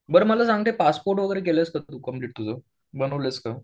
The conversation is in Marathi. बरं मला सांग ते पासपोर्ट वगैरे केलंस का तू कम्प्लिट तुझं? बनवलंस का?